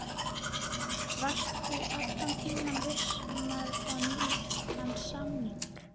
Varstu allan tímann viss um að fá nýjan samning?